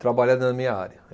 trabalhar na minha área.